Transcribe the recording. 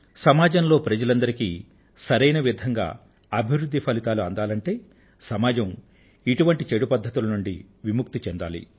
సమాజంలో ప్రజలందరికీ సరైన విధంగా అభివృధ్ధి ఫలితాలు అందాలంటే సమాజం ఇటువంటి చెడు పద్ధతుల నుండి విముక్తిని పొందాలి